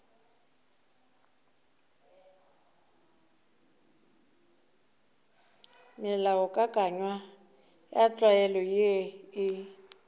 melaokakanywa ya tlwaelo ye e